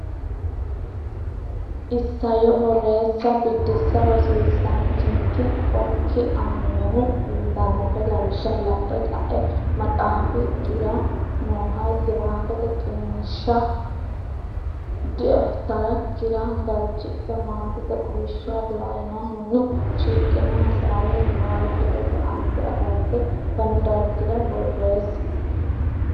Isayyo Borreessa Biddissa Rosiisaanchikki okki aannohe uyitannohe lawishsha la’e ka’e maxaafikkira nooha giraafete qiniishsha dafitarikkira galchidhe, maatete quwishsha lainohunni shiqino hasaawi niwaawe hedote aante agarte fanu dargira borreessi.